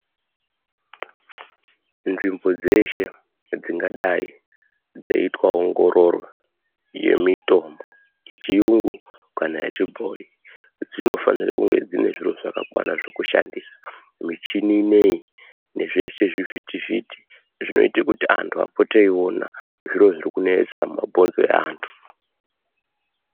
Nzvimbo dzeshe dzingadai dzeiita ongororo yemitombo yechiyungu kana yechibhoi. Dzinofanire kunge dzine zviro zvakakwana dzekushandisa michini inoiyi nezvese zvivhiti-vhiti. Zvinoite kuti antu apote eiona zviro zviri kunetsa mumabhonzo evantu.